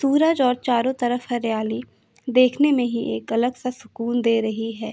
पूरा रोड चारों तरफ हरियाली देखने मे ही एक अलग सा सुकून दे रही है।